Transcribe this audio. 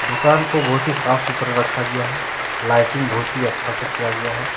दुकान को बहुत ही साफ सुथरा रखा गया है। लाइटिंग बहुत ही अच्छा से किया गया है।